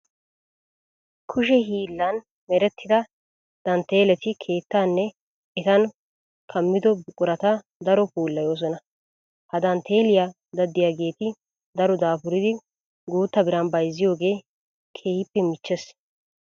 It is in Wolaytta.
Kushe hiillan merettida dantteeleti keettaanne etan kammido buqurata daro puulayoosona. Ha dantteeliya daddiyageeti daro daafuridi guutta biran bayzziyogee keehippe michchees.